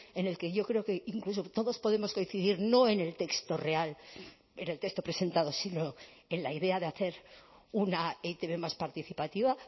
en el que yo creo que incluso todos podemos coincidir no en el texto real en el texto presentado sino en la idea de hacer una e i te be más participativa